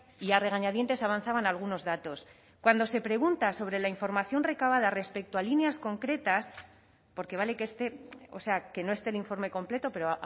y a regañadientes avanzaban algunos datos cuando se pregunta sobre la información recabada respecto a líneas concretas porque vale que esté o sea que no esté el informe completo pero